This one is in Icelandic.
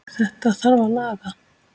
Þetta þarf að laga.